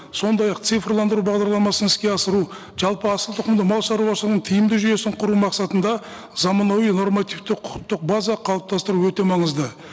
сондай ақ цифрландыру бағдарламасын іске асыру жалпы асылтұқымды малшаруашылығының тиімді жүйесін құру мақсатында заманауи нормативті құқықтық база қалыптастыру өте маңызды